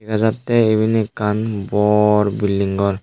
dega jatte iben ekkan bor building ghor.